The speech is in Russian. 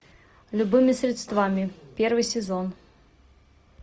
любыми средствами первый сезон